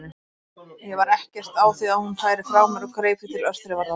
Ég var ekkert á því að hún færi frá mér og greip því til örþrifaráðs.